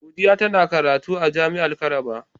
Godiya tana karatu a jami'ar Calabar.